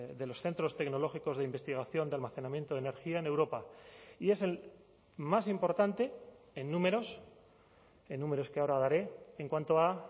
de los centros tecnológicos de investigación de almacenamiento de energía en europa y es el más importante en números en números que ahora daré en cuanto a